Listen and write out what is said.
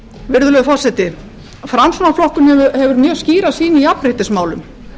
virðulegur forseti framsóknarflokkurinn hefur mjög skýra sýn í jafnréttismálum